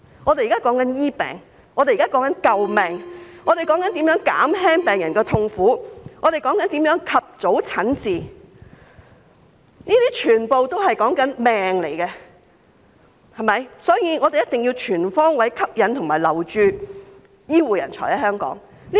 我們現在說的是治病，我們現在說的是救命，我們說的是如何減輕病人的痛苦，我們說的是如何讓病人及早診治，這些全都牽涉生命，所以我們必須全方位吸引醫護人才來港和留港。